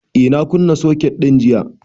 Eh, na kunna soket din jiya